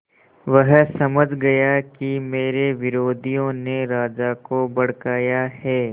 वह समझ गया कि मेरे विरोधियों ने राजा को भड़काया है